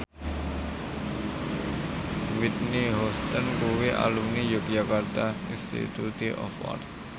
Whitney Houston kuwi alumni Yogyakarta Institute of Art